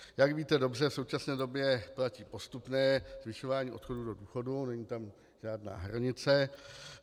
Jak víte dobře, v současné době platí postupné zvyšování odchodu do důchodu, není tam žádná hranice.